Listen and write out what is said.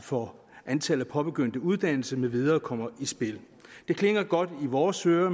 for antallet af påbegyndte uddannelser med videre kommer i spil det klinger godt i vores ører